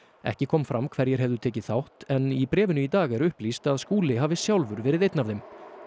ekki kom fram hverjir hefðu tekið þátt í bréfinu í dag er upplýst að Skúli hafi sjálfur verið einn af þeim